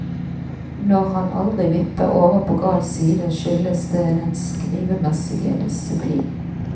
Når han aldri vipper over på gal side, skyldes det den skrivemessige disiplin.